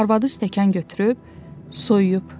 Arvadı stəkan götürüb soyuyub.